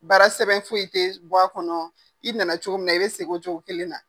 Baara sɛbɛn foyi i tɛ bɔ a kɔnɔ i nana cogo min na i bɛ segin cogo kelen na.